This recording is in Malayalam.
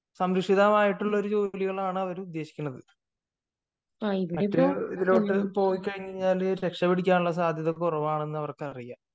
സംരക്ഷിതമായിട്ടുള്ള ഒരു ജോലികളാണ് അവര് ഉദ്ദേശിക്കുന്നത് മറ്റു ഇതിലോട്ടു പോയിക്കഴിഞ്ഞാൽ രക്ഷ പിടിക്കാനുള്ള സാധ്യത കുറവാണെന്നു അവർക്കു അറിയാം